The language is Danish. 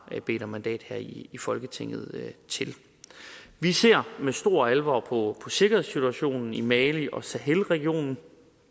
bedt om mandat til her i folketinget vi ser med stor alvor på sikkerhedssituationen i mali og sahelregionen